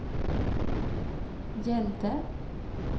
gällde